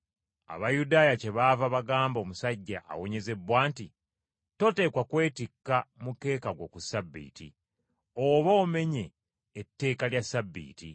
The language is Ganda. Abayudaaya kyebaava bagamba omusajja awonyezebbwa nti, “Toteekwa kwetikka mukeeka gwo ku Ssabbiiti, oba omenye etteeka lya Ssabbiiti.”